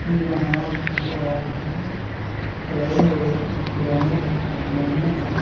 भी बना हुआ है फ्लाईओवर पुराने जमाने का--